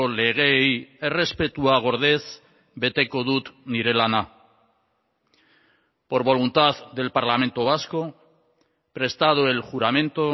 legeei errespetua gordez beteko dut nire lana por voluntad del parlamento vasco prestado el juramento